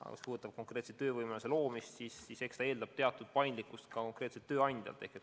Aga mis puudutab konkreetselt töövõimaluste loomist, siis eks see eeldab teatud paindlikkust konkreetsetelt tööandjatelt.